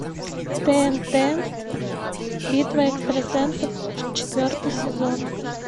тнт битва экстрасенсов четвертый сезон